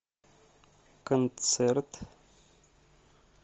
концерт